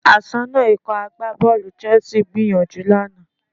Aṣọ́nà Ikọ̀ agbábọ́ọ̀lù Chelsea gbìyànjú lánàá